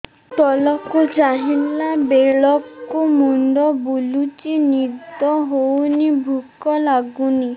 ତଳକୁ ଚାହିଁଲା ବେଳକୁ ମୁଣ୍ଡ ବୁଲୁଚି ନିଦ ହଉନି ଭୁକ ଲାଗୁନି